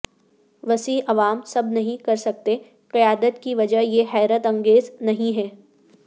وسیع عوام سب نہیں کر سکتے قیادت کی وجہ یہ حیرت انگیز نہیں ہے